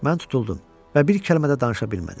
Mən tutuldum və bir kəlmə də danışa bilmədim.